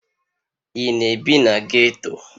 Ị na-ebi na ghetto?